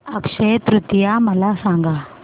अक्षय तृतीया मला सांगा